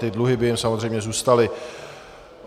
Ty dluhy by jim samozřejmě zůstaly.